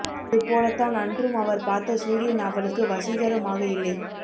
அது போலத் தான் அன்றும் அவர் பார்த்த சூரியன் அவளுக்கு வசீகரமாகயில்லை